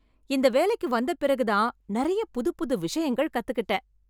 இந்த வேலைக்கு வந்த பிறகுதான் நெறைய புதுப்புது விஷயங்கள் கத்துக்கிட்டேன்.